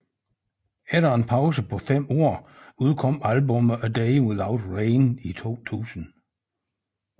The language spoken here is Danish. Efter en pause på fem år udkom albummet A Day Without Rain i 2000